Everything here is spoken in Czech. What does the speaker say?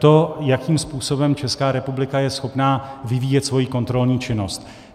To, jakým způsobem Česká republika je schopna vyvíjet svoji kontrolní činnost.